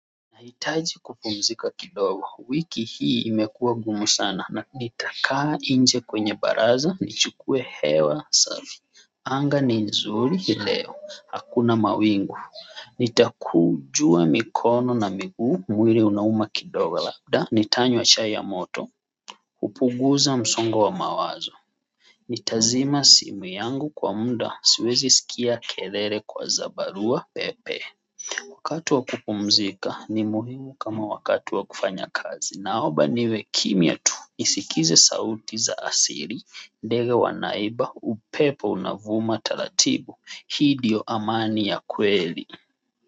Nahitaji kupumzika kidogo wiki hii imekuwa ngumu sana nanitakaa nje kwenye baraza nichukue hewa safi. Anga ni nzuri leo hakuna mawingu. Nitakunjua mikono na miguu mwili unauma kidogo labda nitanywa chai ya moto. Hupunguza msongo wa mawazo. Nitazima simu yangu kwa muda siwezi sikia kelele za barua pepe. Wakati wa kupumzika ni muhimu kama wakati wa kufanya kazi na omba niwe kimya tu nisikize sauti za asili, ndege wanaimba, upepo unavuma taratibu, hii ndiyo amani ya kweli.